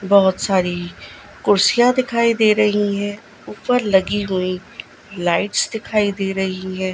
बहोत सारी कुर्सियां दिखाई दे रही है ऊपर लगी हुई लाइट्स दिखाई दे रही है।